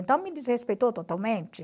Então me desrespeitou totalmente.